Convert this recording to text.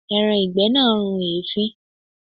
Ẹran ìgbẹ́ náà run èéfín.